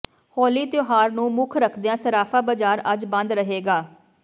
ਹੋਲੀ ਤਿਉਹਾਰ ਨੂੰ ਮੁੱਖ ਰੱਖਦਿਆਂ ਸਰਾਫਾ ਬਜ਼ਾਰ ਅੱਜ ਬੰਦ ਰਹੇਗਾ